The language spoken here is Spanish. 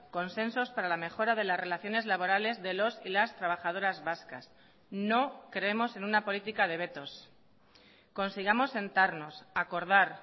consensos para la mejora de las relaciones laborales de los y las trabajadoras vascas no creemos en una política de vetos consigamos sentarnos acordar